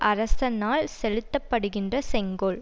அரசனால் செலுத்த படுகின்ற செங்கோல்